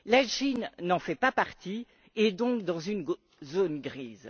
La Chine n'en fait pas partie et est donc dans une zone grise.